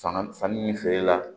Sanga sanni feere la